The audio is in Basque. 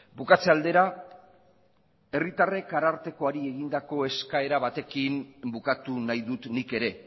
bukatze aldera herritarrek ararteari egindako eskaera batekin bukatu nahi dut nik ere